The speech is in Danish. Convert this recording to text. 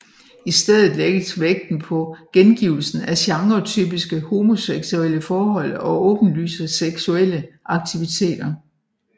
I stedet lægges vægten på gengivelsen af genretypiske homoseksuelle forhold og åbenlyse seksuelle aktiviteter